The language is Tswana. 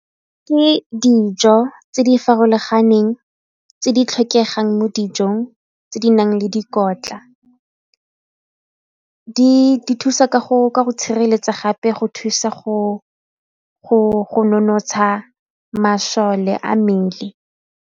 Ke dijo tse di farologaneng tse di tlhokegang mo dijong tse di nang le dikotla, di thusa ka go tshireletsa gape go thusa go nonotsha masole a mmele.